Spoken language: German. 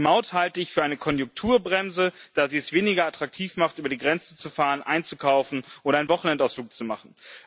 Die Maut halte ich für eine Konjunkturbremse, da sie es weniger attraktiv macht, über die Grenze zu fahren, einzukaufen oder einen Wochenendausflug zu machen.